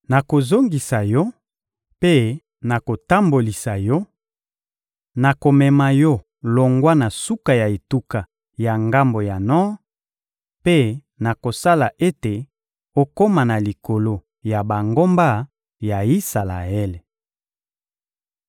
Nakozongisa yo mpe nakotambolisa yo; nakomema yo longwa na suka ya etuka ya ngambo ya nor mpe nakosala ete okoma na likolo ya bangomba ya Isalaele.